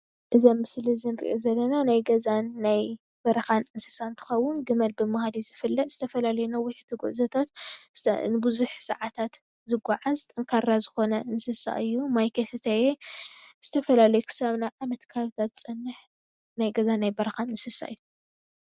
እዚ አብ ምስሊ እንሪኦ ዘለና ናይ ገዛን ናይ በረኻን እንስሳ እንትኸውን ግመል ብምባይ እዩ ዝፍለጥ ዝተፈላለዩ ነዋሕቲ ጉዕዞታት ንቡዙሕ ሰዓታት ዝጎዓዝ ጠንካራ ዝኮነ እንስሳ እዩ። ማይ ከይሰተየ ዝተፈላለዩ ክሳብ ናብ ዓመት ከባብታት ዝፀንሕ ናይ ገዛን ናይ በረካን እንስሳ እዩ።